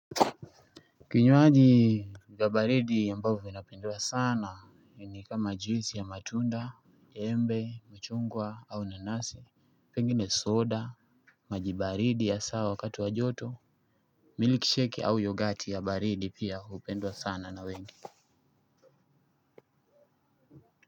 Vinywaji ya baridi ambavyo vinapendwa sana ni kama juisi ya matunda embe chungwa au nanasi pengine soda maji baridi ya sawa wakati wa joto milk shake au yoghurt ya baridi pia hupendwa sana na wengi.